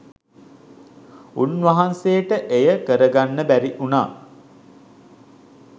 උන්වහන්සේට එය කරගන්න බැරිවුණා.